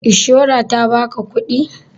Ishora ta ba ka kuɗi?